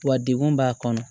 Wa degun b'a kɔnɔ